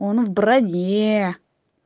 он в броне